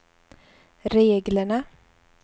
reglerna